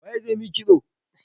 Waye zai yi maki kitso?